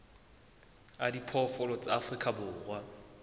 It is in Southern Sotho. a diphoofolo tsa afrika borwa